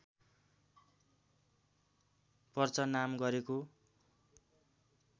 perch नाम गरेको